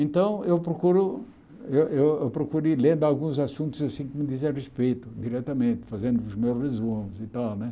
Então, eu procuro... Eu eu procuro ir lendo alguns assuntos assim que me dizem a respeito, diretamente, fazendo os meus resumos e tal né.